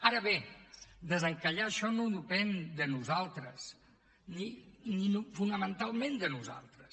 ara bé desencallar això no depèn de nosaltres ni fonamentalment de nosaltres